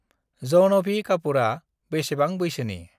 जाहनभि कापुरा बेसेबां बैसोनि?